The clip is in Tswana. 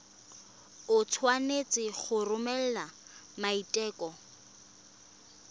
o tshwanetse go romela maiteko